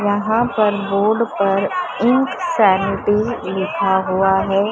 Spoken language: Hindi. यहां पर बोर्ड पर इंक सैनिटी लिखा हुआ है।